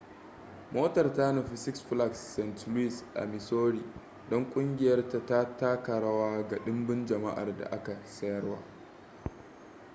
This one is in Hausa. motar ta nufi six flags st louis a missouri don kungiyar ta taka rawa ga dimbin jama'ar da aka sayar